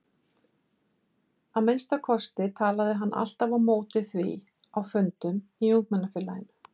Að minnsta kosti talaði hann alltaf á móti því á fundum í ungmennafélaginu.